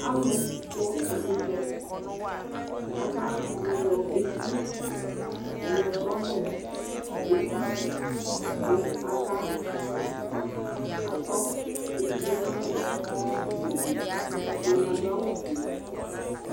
Alʋ kpɔ ɛkʋtɛ, aka yɔ eti yɔtɔ nʋ eti, kʋ aka tɔ etie nalɛƐdɩnɩ adʋ awʋ fue